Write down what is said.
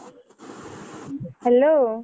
Hello.